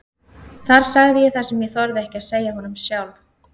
Þar sagði ég það sem ég þorði ekki að segja honum sjálf.